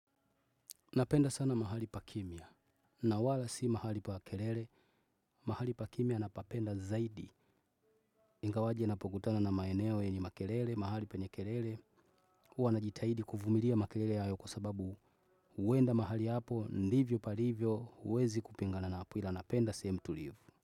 Napenda sana mahali pa kimya. Nawala si mahali pa kelele. Mahali pa kimia napapenda zaidi. Ingawaje napokutana na maeneo yenye makelele, mahali pa nye kelele. Huwa najitahidi kuvumilia makelele hayo kwa sababu huenda mahali hapo, ndivyo palivyo, huwezi kupingana napo ila napenda sehemu tulivu.